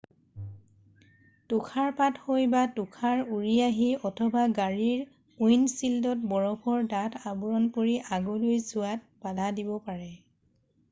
তুষাৰপাত হৈ বা তুষাৰ উৰি আহি অথবা গাড়ীৰ উইণ্ডশ্বিল্ডত বৰফৰ ডাঠ আৱৰণ পৰি আগলৈ চোৱাত বাধা দিব পাৰে